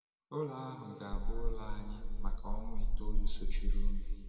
Ụlù ahụ ga-abụ ụlọ anyị maka ọnwa itoolu sochirinụ.